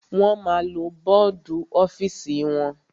Wọ́n ma lo bọ́dù ọ́fìsì wọn.